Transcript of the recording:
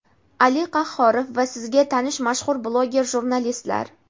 Ali Qahhorov va sizga tanish mashhur bloger jurnalistlar!.